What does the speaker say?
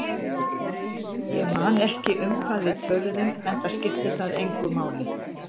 Ég man ekki um hvað við töluðum, enda skipti það engu máli.